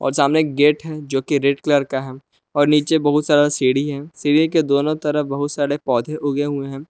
सामने एक गेट है जो की रेड कलर का है और नीचे बहुत सारा सीढ़ी है सीढ़ी के दोनो तरफ बहुत सारे पौधे उगे हुए हैं।